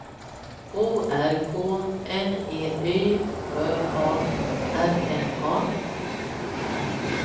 O R K N E Y Ö A R N A